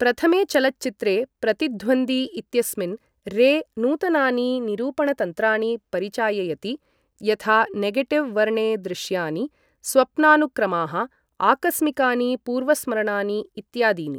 प्रथमे चलच्चित्रे, प्रतिध्वन्दी इत्यस्मिन्, रे नूतनानि निरूपणतन्त्राणि परिचाययति, यथा नेगेटिव् वर्णे दृश्यानि, स्वप्नानुक्रमाः, आकस्मिकानि पूर्वस्मरणानि इत्यादीनि।